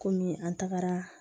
Kɔmi an tagara